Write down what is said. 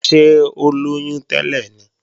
Ṣé ó lóyún tẹ́lẹ̀ ni?